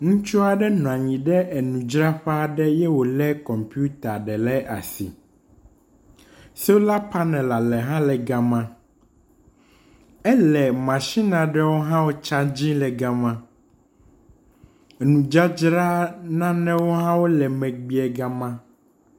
Ŋutsu aɖe nɔ anyi ɖe enudzraƒa aɖe eye wo le kɔmputa ɖe ɖe asi. Sola panel hã le ga ma. Ele masini aɖewo hã wo tsadzim le ga ma. Enudzadzra nanewo le megbea ga ma.